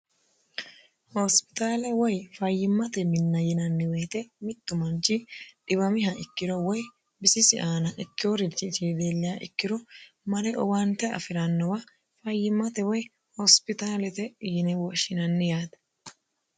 hoosipitaale woy fayyimmate minna yinanni woyite mittu manchi dhiwamiha ikkiro woy bisisi aana ikkeworichi leelliha ikkiro mare owaante afi'rannowa fayyimmate woy hoosipitaalete yine woshinanni yaate